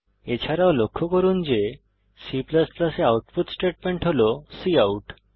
এছাড়াও লক্ষ্য করুন যে C এ আউটপুট স্টেটমেন্ট হল কাউট